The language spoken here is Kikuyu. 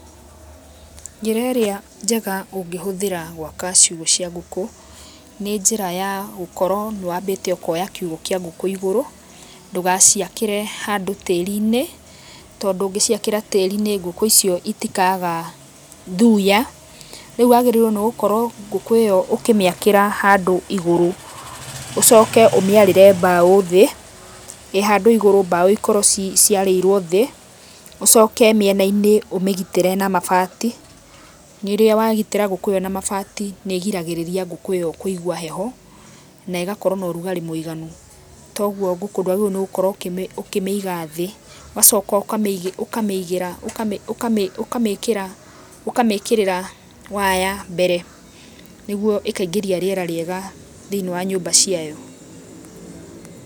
Njĩra ĩríĩ njega ũngĩhũthĩra gwaka ciũgũ cia ngũkũ nĩ njĩra ya, gũkorwo nĩ wambĩte ũkoya kĩũgũ kia ngũkũ ĩgũrũ ndũgaciakĩre handũ tĩrĩ-inĩ, tondũ ũngĩciakĩra tĩrĩ-inĩ ngũkũ icio itikaga thuya. Reu wagĩrĩirwo nĩ gũkorwo ngũkũ ĩyo ũkĩmĩakĩra handũ ĩgũrũ, ũcoke ũmĩarĩre mbao thĩĩ. ĩhandũ igũrũ mbao ikorwo ciarĩirwo thĩĩ , ũcoke mĩena-inĩ ũmĩgĩtĩre na mabati. Rĩrĩa wagĩtĩra ngũkũ ĩyo na mabati nĩ gĩragĩrĩria ngũkũ ĩyo kũigwa heho na ĩgakorwo na ũrũgarĩ mũiganu. Togũo ngũkũ ndwagĩrĩirwo nĩ gũkorwo ũkĩmĩiga thĩĩ. Ũgacoka ũkamĩkĩrĩra waya mbere, nĩgũo ĩkaingĩrĩa rĩera rĩega thĩinĩ wa nyũmba ciayo.